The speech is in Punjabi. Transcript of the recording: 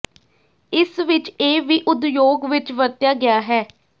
ਇਸ ਵਿਚ ਇਹ ਵੀ ਉਦਯੋਗ ਵਿੱਚ ਵਰਤਿਆ ਗਿਆ ਹੈ